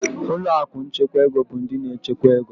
Ụlọ akụ nchekwa ego bụ ndị na-echekwa ego.